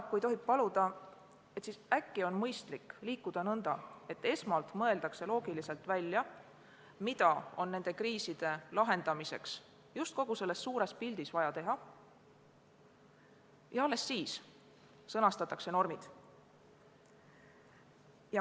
Kui tohib paluda, siis äkki on mõistlik liikuda nõnda, et esmalt mõeldakse loogiliselt välja, mida on nende kriiside lahendamiseks just kogu selles suures pildis vaja teha, ja alles siis sõnastatakse normid.